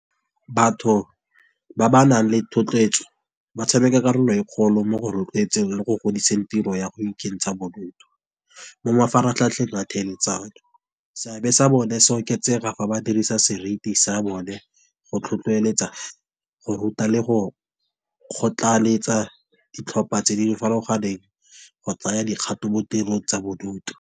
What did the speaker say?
Batho ba ba nang le thotloetso ba tshameka karolo e kgolo mo go rotloetseng le go godiseng tiro ya go ikentsha bodutu. Mo mafaratlhatlheng a thelesano, seabe sa bone se oketsega fa ba dirisa seriti sa bone, go tlhotlheletsa go ruta le go kgotlaletsa ditlhopha tse di farologaneng, go tsaya dikgato mo tirong tsa bodutu.